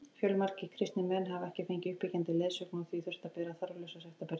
Fjölmargir kristnir menn hafa ekki fengið uppbyggjandi leiðsögn og því þurft að bera þarflausa sektarbyrði.